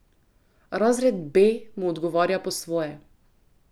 Razred B mu odgovarja po svoje.